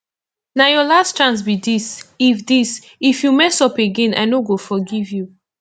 na your last chance be dis if dis if you mess up again i no go forgive you